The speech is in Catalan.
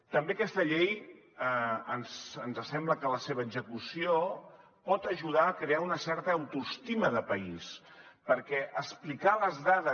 també d’aquesta llei ens sembla que la seva execució pot ajudar a crear una certa autoestima de país perquè explicar les dades